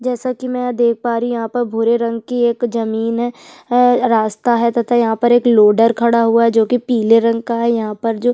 जैसे की मैं यहाँ देख पा रही हूं यहाँ पर एक भूरे रंग की एक जमीन है रास्ता है तथा यहाँ पर एक लोडर खड़ा हुआ है जो की पीले रंग का है यहाँ पर जो--